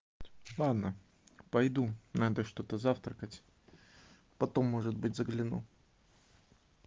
ладно пойду надо что-то завтракать потом может быть загляну